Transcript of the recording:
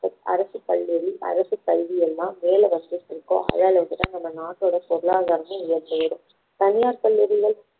அரசு கல்லூரி அரசு பள்ளி எல்லாம் மேலே வந்துட்டுருக்கோ அதே அளவுக்கு தான் நம்ம நாட்டோட பொருளாதாரமும் உயர்ந்து வரும் தனியார் பள்ளிகளில